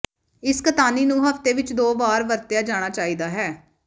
ਇਸ ਕਤਾਨੀ ਨੂੰ ਹਫ਼ਤੇ ਵਿੱਚ ਦੋ ਵਾਰ ਵਰਤਿਆ ਜਾਣਾ ਚਾਹੀਦਾ ਹੈ